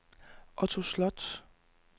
Otto Sloth